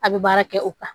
A bɛ baara kɛ o kan